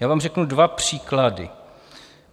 Já vám řeknu dva příklady.